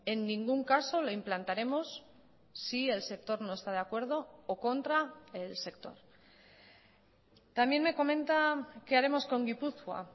en ningún caso lo implantaremos si el sector no está de acuerdo o contra el sector también me comenta qué haremos con gipuzkoa